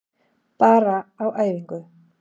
Bara á æfingu.